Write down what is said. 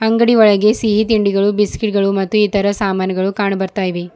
ಅಂಗಡಿ ಒಳಗೆ ಸಿಹಿ ತಿಂಡಿಗಳು ಬಿಸ್ಕೆಟ್ ಗಳು ಮತ್ತು ಇತರ ಸಾಮಾನುಗಳು ಕಾಣು ಬರ್ತಾಯಿವೆ.